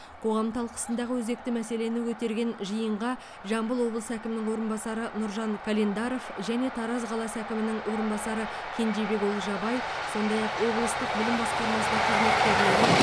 қоғам талқысындағы өзекті мәселені көтерген жиынға жамбыл облысы әкімінің орынбасары нұржан календаров және тараз қаласы әкімінің орынбасары кенжебек олжабай сондай ақ облыстық білім басқармасының қызметкерлері